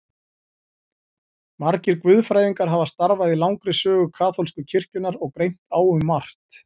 Margir guðfræðingar hafa starfað í langri sögu kaþólsku kirkjunnar og greint á um margt.